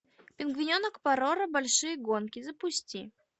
пингвиненок пороро большие гонки запусти